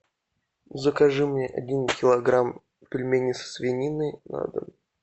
закажи мне один килограмм пельменей со свининой на дом